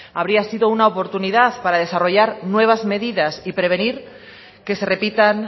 habría sido una oportunidad para desarrollar nuevas medidas y prevenir que se repitan